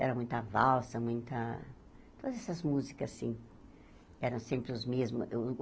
Era muita valsa, muita... Todas essas músicas, assim, eram sempre os mesmas.